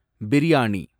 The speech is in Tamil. பிரியாணி